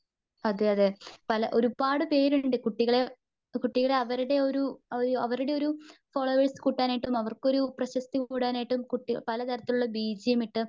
അതെയതെ പല ഒരുപാട് പേരുണ്ട് കുട്ടികളെ കുട്ടികളെ അവരുടെയൊരു അവരുടെയൊരു ഫോളോവേഴ്സ് കൂട്ടാനായിട്ട് അവർക്കൊരു പ്രശസ്തി കുടാനായിട്ടും കുട്ടി പലതരത്തിലുള്ള ബീജിയം ഇട്ട്